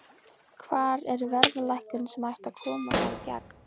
Hvar er verðlækkunin sem ætti að koma þar í gegn?